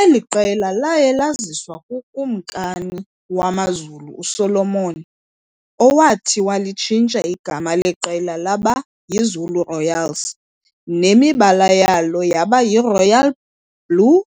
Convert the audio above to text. Eli qela laye laziswa kukumkani wamaZulu uSolomon, owathi walitshintsha igama leqela laba yiZulu Royals nemibala yalo yaba yiRoyal blue